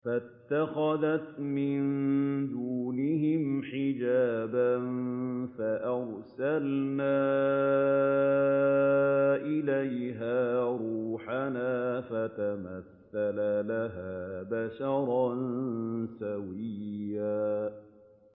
فَاتَّخَذَتْ مِن دُونِهِمْ حِجَابًا فَأَرْسَلْنَا إِلَيْهَا رُوحَنَا فَتَمَثَّلَ لَهَا بَشَرًا سَوِيًّا